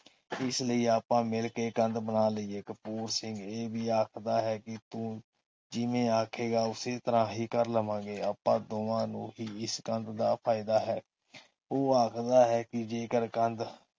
ਇਸਲਈ ਆਪਾ ਮਿਲਕੇ ਕੰਧ ਬਣਾ ਲਈਏ। ਕਪੂਰ ਸਿੰਘ ਇਹ ਵੀ ਆਖਦਾ ਹੈ ਕਿ ਤੂੰ ਜਿਵੇਂ ਆਖਾਂਗੇ ਉਸੇ ਤਰ੍ਹਾਂ ਹੀ ਕਰ ਲਵਾਂਗੇ। ਆਪਾ ਦੋਵਾਂ ਨੂੰ ਹੀ ਇਸ ਕੰਧ ਦਾ ਫਾਇਦਾ ਹੈ। ਉਹ ਆਖਦਾ ਹੈ ਕਿ ਜੇਕਰ ਕੰਧ